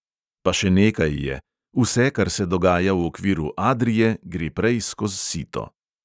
Pa še nekaj je: vse, kar se dogaja v okviru adrie, gre prej skoz sito.